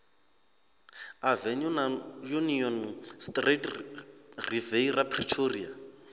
avenue na union street riviera pretoria